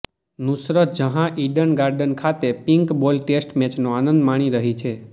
Nusrat Jahan Eden Garden ખાતે pink ball test મેચનો આનંદ માણી રહી છે